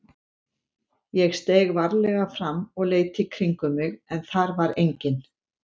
Ég steig varlega fram og leit í kringum mig en þar var enginn.